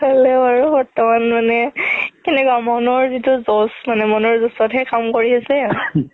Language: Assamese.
হ'লেও আৰু বৰ্তমান মানে মনৰ জিতো জোচ মানে মনৰ জোচত হে কাম কৰি আছে